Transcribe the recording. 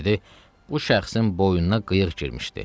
Dedi: "Bu şəxsin boynuna qıyıq girmişdi.